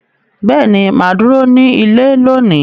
Beeni, maa duro ni ile loni.